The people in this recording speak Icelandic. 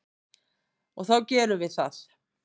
Og þá gerum við það.